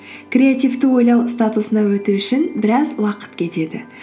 креативті ойлау статусына өту үшін біраз уақыт кетеді